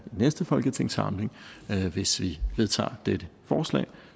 næste folketingssamling hvis vi vedtager dette forslag